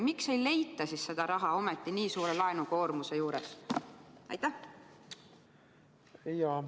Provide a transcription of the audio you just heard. Miks seda raha ei leita, kuigi laenukoormus on nii suur?